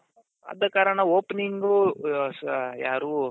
ಆದಕಾರಣ opening ಆ ಯಾರು